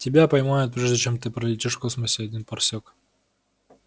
тебя поймают прежде чем ты пролетишь в космосе один парсек